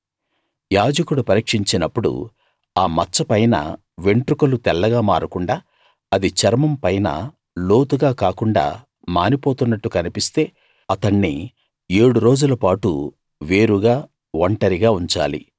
యాజకుడు పరీక్షించినప్పుడు ఆ మచ్చపైన వెంట్రుకలు తెల్లగా మారకుండా అది చర్మం పైన లోతుగా కాకుండా మానిపోతున్నట్టు కన్పిస్తే అతణ్ణి ఏడు రోజులపాటు వేరుగా ఒంటరిగా ఉంచాలి